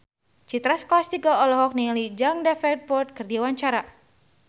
Citra Scholastika olohok ningali Jack Davenport keur diwawancara